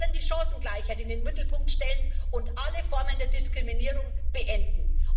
Wir wollen die Chancengleichheit in den Mittelpunkt stellen und alle Formen der Diskriminierung beenden.